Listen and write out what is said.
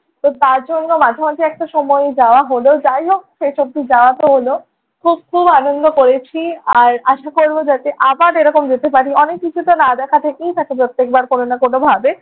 তো তার জন্য মাঝে মাঝে একটা সময়ই যাওয়া হলো। যাই হোক শেষ অবধি যাওয়াতো হলো। খুব খুব আনন্দ করেছি, আর আশা করবো যাতে আবার এরকম যেতে পারি। অনেক কিছুতো না দেখা থেকেই থাকে প্রত্যেকবার কোনো না কোনোভাবে।